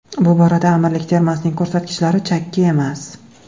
Bu borada Amirlik termasining ko‘rsatkichlari chakki emas.